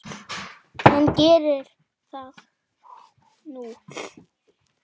En geri það nú.